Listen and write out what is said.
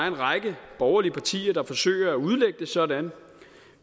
en række borgerlige partier der forsøger at udlægge det sådan